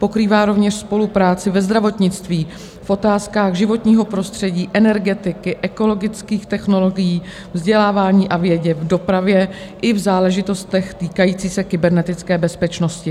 Pokrývá rovněž spolupráci ve zdravotnictví, v otázkách životního prostředí, energetiky, ekologických technologií, vzdělávání a vědě, v dopravě i v záležitostech týkajících se kybernetické bezpečnosti.